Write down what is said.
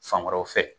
Fan wɛrɛw fɛ